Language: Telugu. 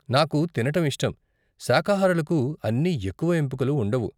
నాకు తినటం ఇష్టం, శాఖాహారులకు అన్ని ఎక్కువ ఎంపికలు ఉండవు.